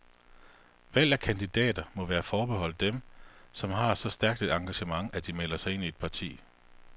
Valg af kandidater må være forbeholdt dem, som har så stærkt et engagement, at de melder sig ind i et parti.